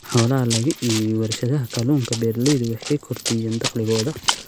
In xoolaha laga iibiyo warshadaha kalluunka, beeralaydu waxay kordhiyaan dakhligooda.